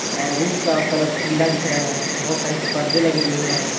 अ room का colour पीला दिख रहे हैं बहोत सारे पर्दे लगे हुए हैं।